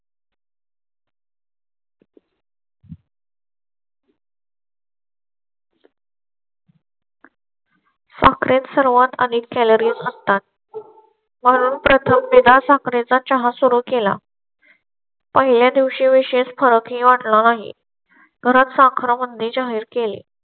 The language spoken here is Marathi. सर्वांत आणि calories असतात. म्हणून प्रथम विना साखरे चा चहा सुरू केला. पहिल्या दिवशी विशेष फरक होणार नाही करत साखर म्हणजे जाहीर केले.